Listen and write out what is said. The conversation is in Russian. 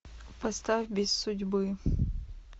поставь без судьбы